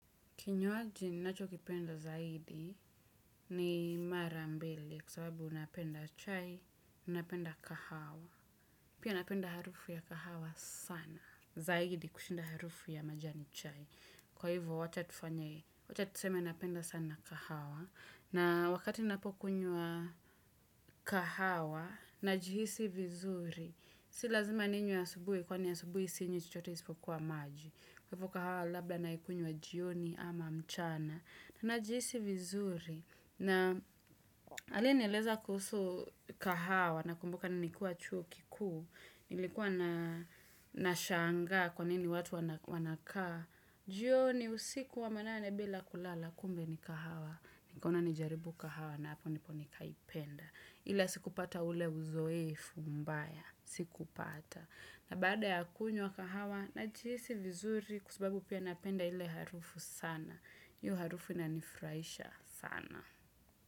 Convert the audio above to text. Kinywaji ninacho kipenda zaidi ni mara mbili kwa sababu napenda chai, napenda kahawa. Pia napenda harufu ya kahawa sana. Zaidi kushinda harufu ya majani chai. Kwa hivo wacha tuseme napenda sana kahawa. Na wakati ninapokunywa kahawa najihisi vizuri, si lazima ninywe asubuhi kwani asubuhi sinywi chochote isipokuwa maji. Kwa hivo kahawa labla naikunywa jioni ama mchana. Najihisi vizuri na aliye nieleza kuhusu kahawa nakumbuka nikiwa chuo kikuu, nilikuwa naa nashanga kwa nini watu wanakaa, jioni usiku wa manane bila kulala kumbe ni kahawa, nikaona nijaribu kahawa na hapo nipo nikaipenda. Ile sikupata ule uzoefu mbaya. Sikupata. Na bada ya kunywa kahawa najihisi vizuri kwa sababu pia napenda ile harufu sana. Hiyo harufu inanifurahisha sana.